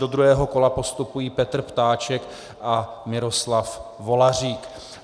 Do druhého kola postupují Petr Ptáček a Miroslav Volařík.